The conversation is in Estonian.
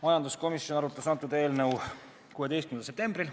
Majanduskomisjon arutas kõnealust eelnõu 16. septembril.